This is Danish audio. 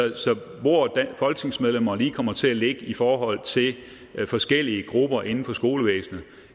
hvor folketingsmedlemmer lige kommer til at ligge i forhold til forskellige grupper inden for skolevæsenet